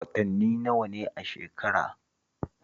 Watanni nawa ne a shekara?